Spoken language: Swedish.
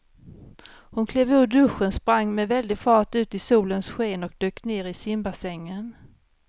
Hon klev ur duschen, sprang med väldig fart ut i solens sken och dök ner i simbassängen.